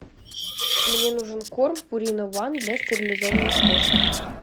мне нужен корм пурина уан для стерилизованных кошек